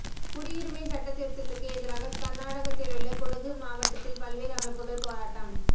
குடியுரிமை சட்டத் திருத்ததுக்கு எதிராக கர்நாடகத்திலுள்ள குடகு மாவட்டத்தில் பல்வேறு அமைப்புகள் போராட்டம்